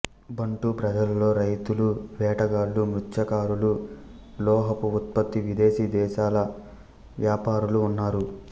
బంటు ప్రజలలో రైతులు వేటగాళ్ళు మత్స్యకారులు లోహపు ఉత్పత్తి విదేశీ దేశాల వ్యాపారులు ఉన్నారు